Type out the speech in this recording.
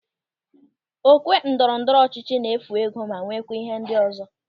Okwe ndọrọ ndọrọ ọchịchị na-efu ego ma nweekwa ihe ndị ọzọ.